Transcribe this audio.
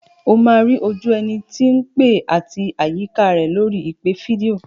O máa rí ojú ẹni tí ń pè àti àyíká rẹ̀ lórí ìpè fídíò.